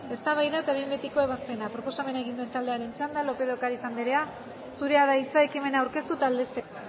eztabaida eta behin betiko ebazpena proposamena egin duen taldearen txanda lópez de ocariz anderea zurea da hitza ekimena aurkeztu eta aldezteko